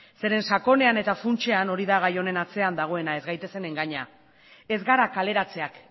zeren eta sakonean eta funtsean hori da gai honen atzean dagoena ez gaitezen engaina ez gara kaleratzeak